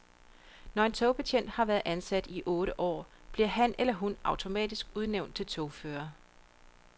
Når en togbetjent har været ansat i otte år, bliver han eller hun automatisk udnævnt til togfører.